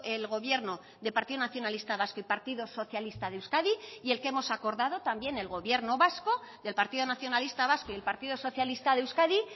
el gobierno del partido nacionalista vasco y partido socialista de euskadi y el que hemos acordado también el gobierno vasco del partido nacionalista vasco y el partido socialista de euskadi